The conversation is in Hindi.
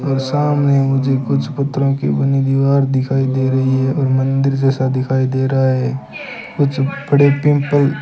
सामने मुझे कुछ पत्रों की बनी दीवार दिखाई दे रही है और मंदिर जैसा दिखाई दे रहा है कुछ बड़े पिंपल --